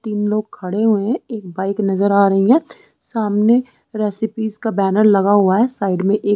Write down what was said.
तीन लोग खड़े हुए है एक बाइक नज़र आ रही है सामने रेसिपीज़ का बैनर लगा हुआ है साइड में एक--